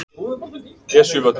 Esjuvöllum